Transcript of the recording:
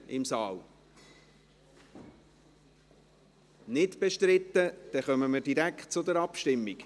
– Das ist nicht der Fall, dann kommen wir direkt zur Abstimmung.